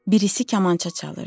Birisi kamança çalırdı.